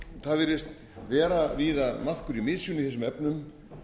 það virðist vera víða maðkur í mysunni í þessum efnum